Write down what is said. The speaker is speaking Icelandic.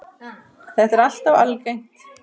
Þetta er alltof algengt.